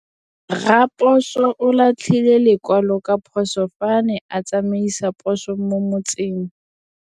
Raposo o latlhie lekwalô ka phosô fa a ne a tsamaisa poso mo motseng.